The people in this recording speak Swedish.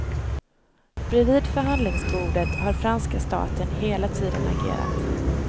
Bredvid förhandlingsbordet har franska staten hela tiden agerat.